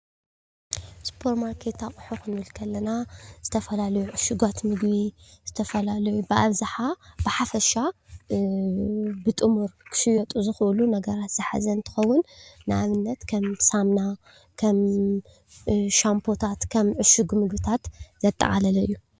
ሱፐርማርኬት ኣቁሑት ክንብል ከለና ዝተፈላለዩ እሹጋት ምግቢ ዝተፈላለዩ ብኣብዝሓ ብሓፈሻ ብጥሙር ክሽየጡ ዝኽእሉ ነገራት ዝሓዘ እንትኸዉን ንኣብነት ከም ሳሙና ዉ፣ ከም ሻምፖታትዉ፣ ከም እሹግ ምግብታት ዘጠቃለለ እዩ።